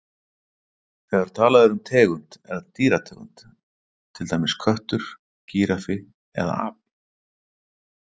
Þegar talað er um tegund er það dýrategund, til dæmis köttur, gíraffi eða api.